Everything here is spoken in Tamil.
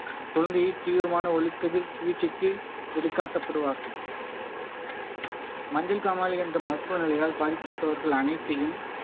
குழந்தையை தீவிரமான ஒளி கதிர் சிகிச்சைக்கு வெளிக்காட்டப்படுவார்கள் மஞ்சள் காமாலை என்ற மருத்துவ நிலையால் பாதிக்கப்பட்டவர்கள் அனைத்தையும்